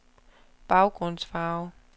baggrundsfarve